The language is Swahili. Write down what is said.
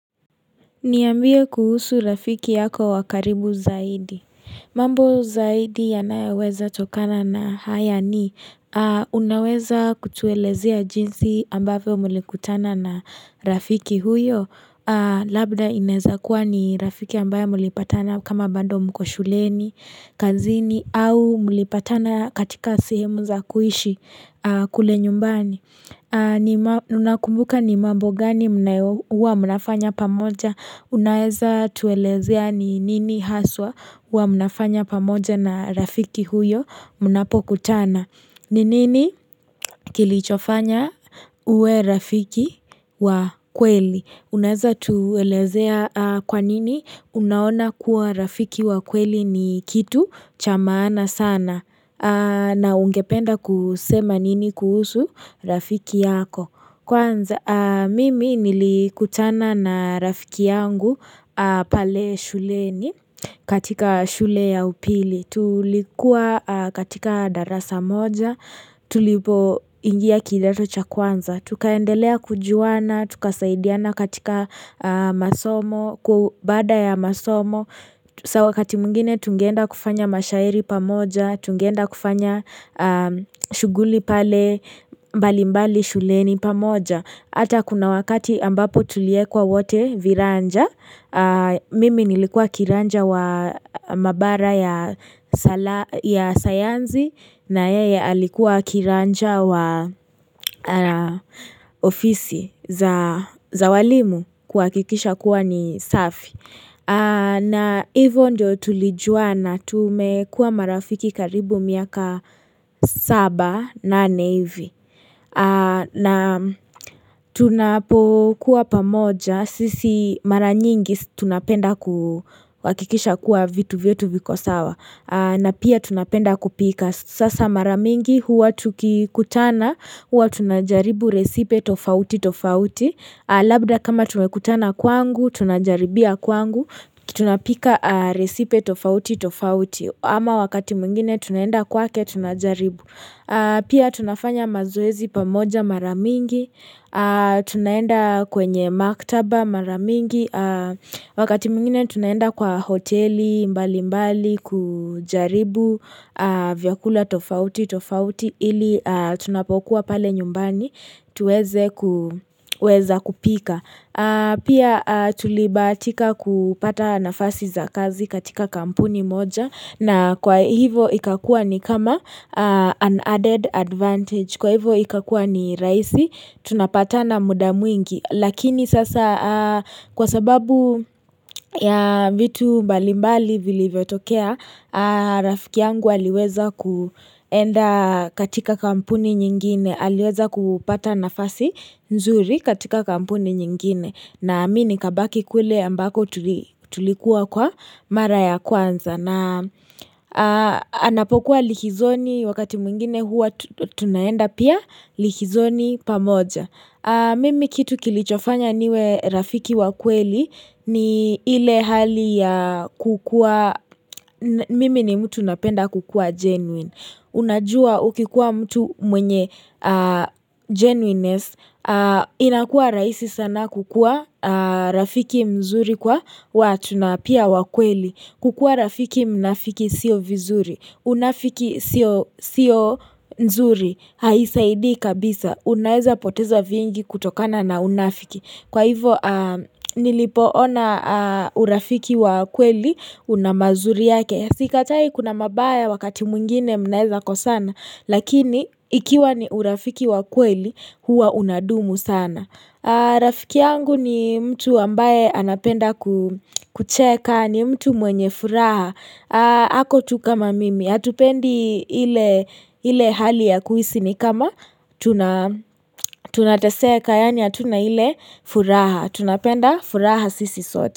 Niambie kuhusu rafiki yako wa karibu zaidi. Mambo zaidi yanayoweza tokana na haya ni. Unaweza kutuelezea jinsi ambavyo mlikutana na rafiki huyo. Labda inaweza kuwa ni rafiki ambaye mlipatana kama bado mko shuleni, kazini au mlipatana katika sehemu za kuishi kule nyumbani. Unakumbuka ni mambo gani huwa mnafanya pamoja unaeza tuelezea ni nini haswa huwa mnafanya pamoja na rafiki huyo mnapo kutana ni nini kilichofanya uwe rafiki wa kweli unaeza tuelezea kwa nini unaona kuwa rafiki wa kweli ni kitu cha maana sana na ungependa kusema nini kuhusu Rafiki yako. Kwanza, mimi nilikutana na Rafiki yangu pale shuleni katika shule ya upili. Tulikuwa katika darasa moja. Tulipoingia kidato cha kwanza. Tukaendelea kujuana. Tukasaidiana katika masomo. Kwa baada ya masomo. Sawa wakati mwingine tungeenda kufanya mashairi pamoja, tungeenda kufanya shughuli pale mbali mbali shuleni pamoja hata kuna wakati ambapo tuliwekwa wote viranja Mimi nilikua kiranja wa mabara ya sayansi na yeye alikuwa kiranja wa ofisi za walimu kuhakikisha kuwa ni safi na hivo ndio tulijuana tumekuwa marafiki karibu miaka saba na nane hivi na tunapokuwa pamoja sisi mara nyingi tunapenda kuhakikisha kuwa vitu vyetu viko sawa na pia tunapenda kupika sasa mara mingi huwa tukikutana huwa tunajaribu resipe tofauti tofauti Labda kama tumekutana kwangu, tunajaribia kwangu kitu napika resipe tofauti tofauti ama wakati mwingine tunaenda kwake tunajaribu Pia tunafanya mazoezi pamoja mara mingi Tunaenda kwenye maktaba maramingi Wakati mwingine tunaenda kwa hoteli mbali mbali kujaribu vyakula tofauti tofauti ili tunapokuwa pale nyumbani tuweze kuweza kupika Pia tulibahatika kupata nafasi za kazi katika kampuni moja na kwa hivo ikakua ni kama an added advantage Kwa hivo ikakuwa ni rahisi tunapatana muda mwingi. Lakini sasa kwa sababu ya vitu mbalimbali vilivyotokea Rafiki yangu aliweza kuenda katika kampuni nyingine aliweza kupata nafasi nzuri katika kampuni nyingine na mimi nikabaki kule ambako tulikuwa kwa mara ya kwanza na anapokuwa likizoni wakati mwingine huwa tunaenda pia likizoni pamoja mimi kitu kilichofanya niwe rafiki wa kweli ni ile hali ya kukuwa mimi ni mtu napenda kukuwa genuine Unajua ukikuwa mtu mwenye genuineness, inakuwa rahisi sana kukuwa rafiki mzuri kwa watu na pia wa kweli. Kukuwa rafiki mnafiki siyo vizuri, unafiki siyo mzuri, haisaidi kabisa. Unaeza poteza vingi kutokana na unafiki. Kwa hivo nilipoona urafiki wa kweli una mazuri yake. Sikatai kuna mabaya wakati mwingine mnaweza kosana, lakini ikiwa ni urafiki wa kweli, huwa unadumu sana. Rafiki yangu ni mtu ambaye anapenda kucheka, ni mtu mwenye furaha. Ako tu kama mimi, hatupendi ile hali ya kuisi ni kama tunataseka, yaani hatuna ile furaha. Tunapenda furaha sisi sote.